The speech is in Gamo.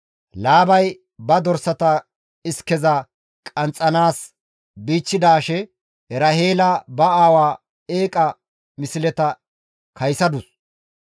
Laabay ba dorsata iskeza qanxxanaas bichchidaashe Eraheela ba aawa eeqa misleta kaysadus.